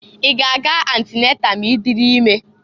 I g' a ga-antinatal ma i diri ime?